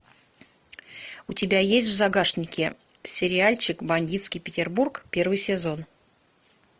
у тебя есть в загашнике сериальчик бандитский петербург первый сезон